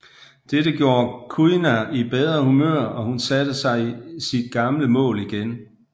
Dette gjorde Kuina i bedre humør og hun satte sig sit gamle mål igen